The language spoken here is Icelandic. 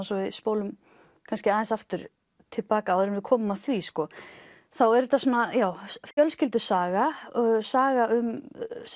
svo við spólum kannski aðeins aftur til baka áður en við komum að því þá er þetta fjölskyldusaga saga um